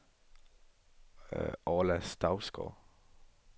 Orla Stougaard